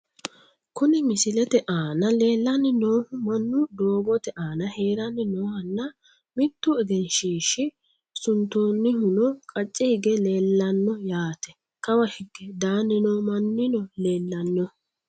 Kuni misilete aana leellanni noohu mannu doogote aana haranni noohanna, mittu egenshiishsha suntoonnihuno qacce hige leellanno yaate kawa hige daanni noo mannino leellanno.